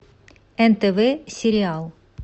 нтв сериал